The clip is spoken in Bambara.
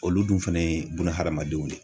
Olu dun fana ye bunahadamadenw de ye.